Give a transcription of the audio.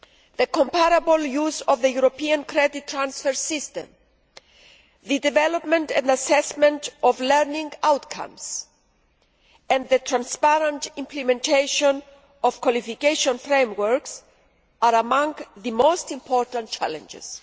The comparable use of the European credit transfer system, the development and assessment of learning outcomes and the transparent implementation of qualification frameworks are among the most important challenges.